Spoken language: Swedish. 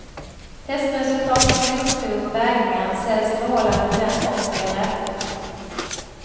Testresultat från blodprov och vägningar ställs i förhållande till den kost vi har ätit.